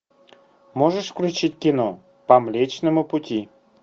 можешь включить кино по млечному пути